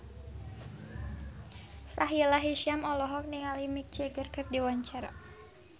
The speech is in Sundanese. Sahila Hisyam olohok ningali Mick Jagger keur diwawancara